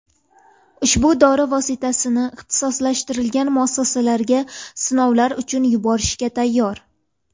Ushbu dori vositasini ixtisoslashtirilgan muassasalarga sinovlar uchun yuborishga tayyor.